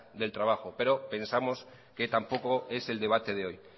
del trabajo pero pensamos que tampoco es el debate de hoy